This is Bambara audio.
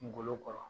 Kungolo kɔrɔ